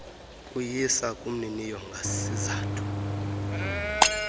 kuyisa kumniniyo ngasizathu